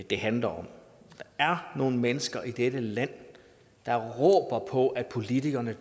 det handler om der er nogle mennesker i dette land der råber på at politikerne